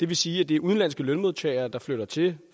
vil sige at det er udenlandske lønmodtagere der flytter til